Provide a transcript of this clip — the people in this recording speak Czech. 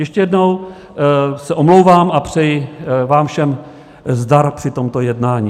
Ještě jednou se omlouvám a přeji vám všem zdar při tomto jednání.